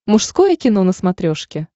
мужское кино на смотрешке